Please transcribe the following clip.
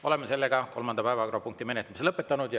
Oleme kolmanda päevakorrapunkti menetlemise lõpetanud.